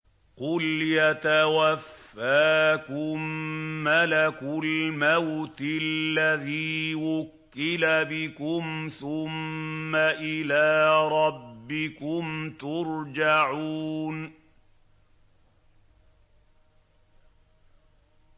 ۞ قُلْ يَتَوَفَّاكُم مَّلَكُ الْمَوْتِ الَّذِي وُكِّلَ بِكُمْ ثُمَّ إِلَىٰ رَبِّكُمْ تُرْجَعُونَ